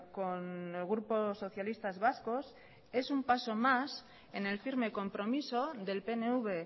con el grupo socialistas vascos es un paso más en el firme compromiso del pnv